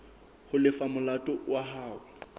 ho lefa molato wa hao